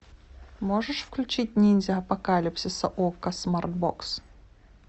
можешь включить ниндзя апокалипсиса окко смарт бокс